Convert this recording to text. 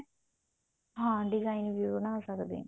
ਹਾਂ design ਵੀ ਬਣਾ ਸਕਦੇ ਹਾਂ